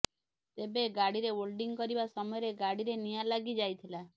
ତେବେ ଗାଡିରେ ଓଲଡିଂ କରିବା ସମୟରେ ଗାଡିରେ ନିଆଁ ଲାଗି ଯାଇଥିଲା